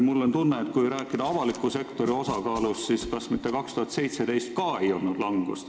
Mul on tunne, et kui rääkida avaliku sektori osakaalust, siis kas mitte ka aastal 2017 ei olnud langus?